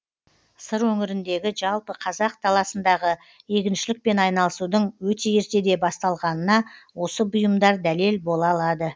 сыр өңіріндегі жалпы қазақ даласындағы егіншілікпен айналысудың өте ертеде басталғанына осы бұйымдар дәлел бола алады